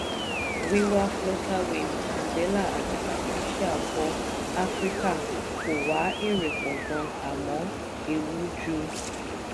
wíwá flutterwave andela àti patricia bọ̀ áfíríkà kó wá èrè pọ̀gan àmọ́ ewu ju.